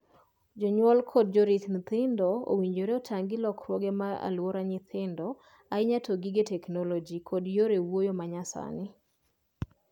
Jonyuol kod jorit nyithindo owinjore otang’ gi lokruoge mag aluora nyithindo, ahinya to gige ‘teknoloji’ kod yore wuoyo ma nyasani.